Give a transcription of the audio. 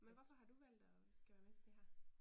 Men hvorfor har du valgt og skal være med til det her?